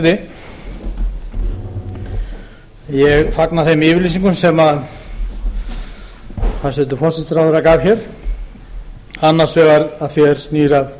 hæstvirtur forseti ég fagna þeim yfirlýsingum sem hæstvirtur forsætisráðherra gaf hér annars vegar að því er snýr að